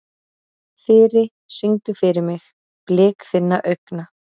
Þyri, syngdu fyrir mig „Blik þinna augna“.